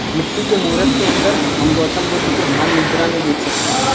मिट्टी के मूरत के अंदर हम गौतम बुद्ध को ध्यान मुद्रा में देख सकते हैं।